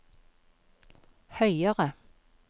høyere